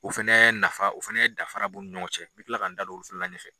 o fana nafa o fana dafara b'u ni ɲɔgɔn cɛ n bɛ tila ka n da don olu fana la ɲɛfɛ.